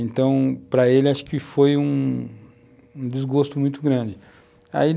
Então, para ele, acho que foi um desgosto muito grande.